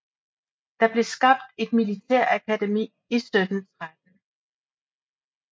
Der blev skabt et militærakademi i 1713